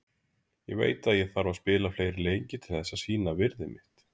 Ég veit að ég þarf að spila fleiri leiki til þess að sýna virði mitt